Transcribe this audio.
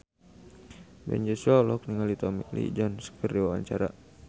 Ben Joshua olohok ningali Tommy Lee Jones keur diwawancara